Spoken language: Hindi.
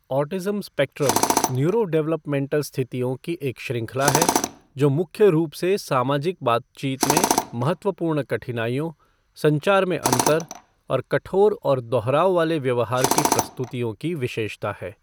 ऑटिज़्म स्पेक्ट्रम न्यूरोडेवलपमेंटल स्थितियों की एक श्रृंखला है जो मुख्य रूप से सामाजिक बातचीत में महत्वपूर्ण कठिनाइयों, संचार में अंतर और कठोर और दोहराव वाले व्यवहार की प्रस्तुतियों की विशेषता है।